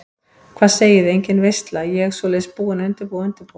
Hvað segiði, engin veisla, ég svoleiðis búin að undirbúa og undirbúa.